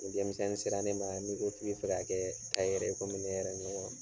Ni denmisɛnni sera ne ma , n'i ko k'i bɛ fɛ ka kɛ tayɛri ye kɔmi ne yɛrɛ ɲɔgɔn